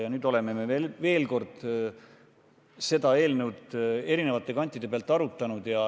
Ja nüüd oleme me veel kord seda eelnõu erinevate kantide pealt arutanud.